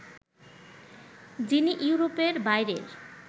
যিনি ইউরোপের বাইরের